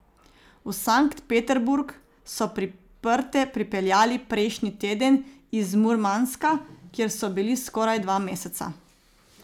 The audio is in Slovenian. V Sankt Peterburg so priprte pripeljali prejšnji teden iz Murmanska, kjer so bili skoraj dva meseca.